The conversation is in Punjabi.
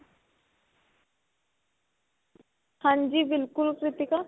ਹਾਂਜੀ ਬਿਲਕੁਲ ਕ੍ਰਿਤਿਕਾ